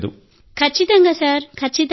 ఖచ్చితంగా సార్ ఖచ్చితంగా